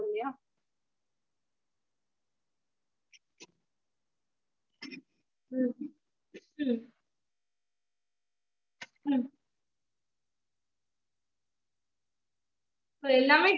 its okay mam இபோ dessert ஒரு dessert ஒரு பிரியாணி ஒரு raitaplus எதுனாச்சும் ஒரு sixty-five அந்த மாதிரி பண்ணிங்கனா அது வந்து two hundred கிட்டதா mam வரும் so both